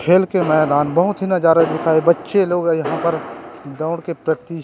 खेल के मैदान बहुत नज़ारा दिखाई बच्चे लोग यहाँ पर दौड़ के प्रैक्टिस --